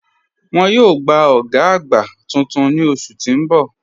Wọ́n yòò gbà ògá àgbá tuntun ni oṣù tí n bọ̀.